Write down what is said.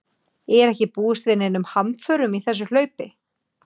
Er ekki búist við neinum hamförum í þessu hlaupi?